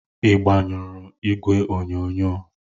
Ị gbanyụọ igwe onyonyo?